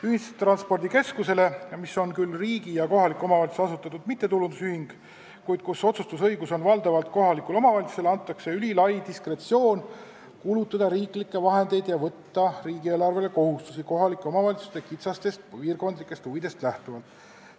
Ühistranspordikeskusele, mis on küll riigi ja kohaliku omavalitsuse asutatud mittetulundusühing, kuid kus otsustusõigus on valdavalt kohalikul omavalitsusel, antakse ülilai diskretsioon kulutada riiklikke vahendeid ja võtta riigieelarvele kohustusi kohalike omavalitsuste kitsastest piirkondlikest huvidest lähtuvalt.